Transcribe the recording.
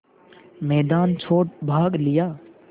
मैदान छोड़ भाग लिया